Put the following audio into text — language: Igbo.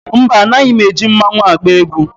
Mba, anaghị m eji mmanwu agba egwu.